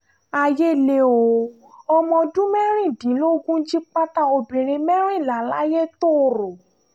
ayé lé o ọmọ ọdún mẹ́rìndínlógún jí pátá obìnrin mẹ́rìnlá layétòrò